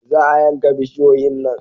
Za a yanka bishiyoyin nan